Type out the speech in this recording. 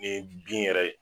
Nin ye bin yɛrɛ ye